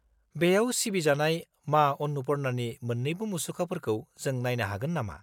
-बेयाव सिबिजानाय मा अन्नपुर्णानि मोन्नैबो मुसुखाफोरखौ जों नायनो हागोन नामा?